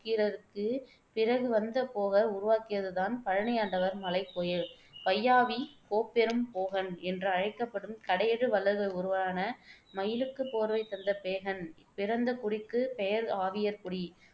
நக்கீரருக்குப் பிறகு வந்த போகர் உருவாக்கியது தான் பழனியாண்டவர் மலைக்கோயில் வையாவி கோப்பெரும் போகன் என்று அழைக்கப்படும் கடையெழு வள்ளல்களில் ஒருவரான மயிலுக்குப் போர்வை தந்த பேகன் பிறந்த குடிக்குப் பெயர் ஆவியர்குடி.